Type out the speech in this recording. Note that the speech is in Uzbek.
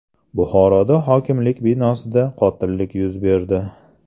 Buxoroda hokimlik binosida qotillik yuz berdi.